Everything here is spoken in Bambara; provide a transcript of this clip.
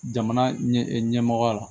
Jamana ɲɛmɔgɔya la